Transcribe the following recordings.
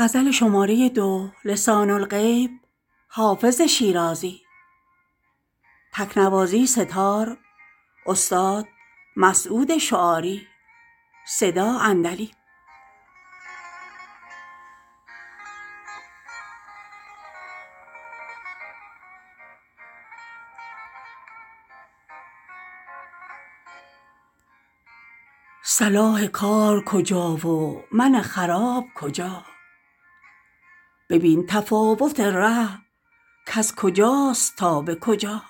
صلاح کار کجا و من خراب کجا ببین تفاوت ره کز کجاست تا به کجا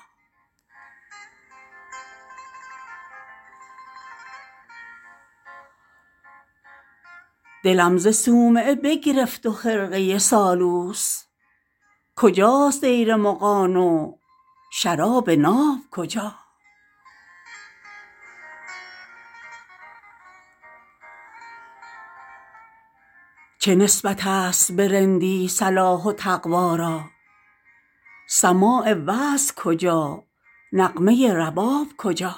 دلم ز صومعه بگرفت و خرقه سالوس کجاست دیر مغان و شراب ناب کجا چه نسبت است به رندی صلاح و تقوا را سماع وعظ کجا نغمه رباب کجا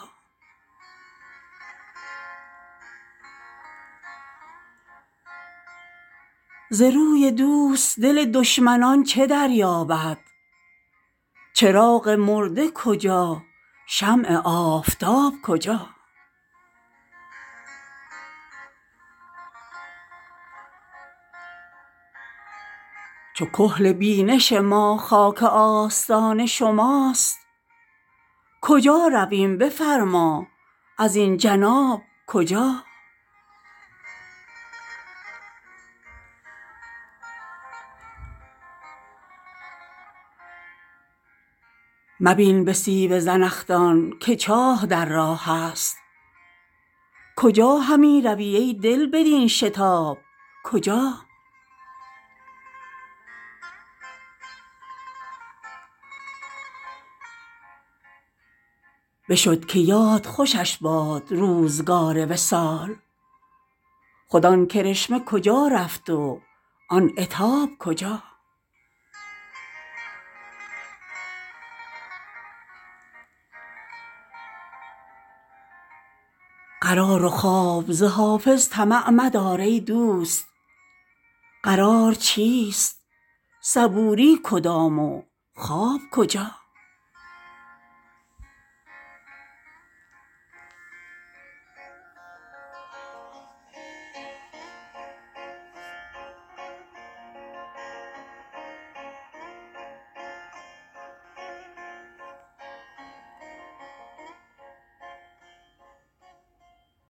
ز روی دوست دل دشمنان چه دریابد چراغ مرده کجا شمع آفتاب کجا چو کحل بینش ما خاک آستان شماست کجا رویم بفرما ازین جناب کجا مبین به سیب زنخدان که چاه در راه است کجا همی روی ای دل بدین شتاب کجا بشد که یاد خوشش باد روزگار وصال خود آن کرشمه کجا رفت و آن عتاب کجا قرار و خواب ز حافظ طمع مدار ای دوست قرار چیست صبوری کدام و خواب کجا